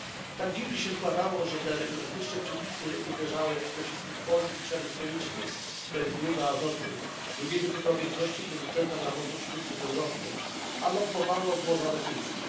Tak dziwnie się składało, że te rygorystyczne przepisy uderzały przede wszystkim w polski przemysł chemiczny, to jest Grupę Azoty, drugiego co do wielkości producenta nawozów sztucznych w Europie, a lobbowało złoża rosyjskie.